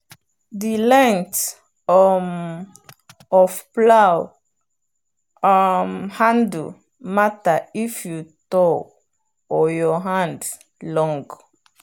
the length um of plow um handle matter if you tall or your hand long.